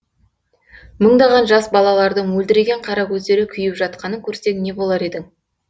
мыңдаған жас балалардың мөлдіреген қара көздері күйіп жатқанын көрсең не болар едің